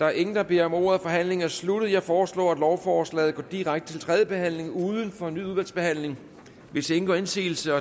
er ingen der beder om ordet forhandlingen er sluttet jeg foreslår at lovforslaget går direkte til tredje behandling uden fornyet udvalgsbehandling hvis ingen gør indsigelse